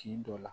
Tin dɔ la